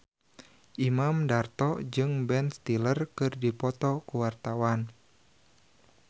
Imam Darto jeung Ben Stiller keur dipoto ku wartawan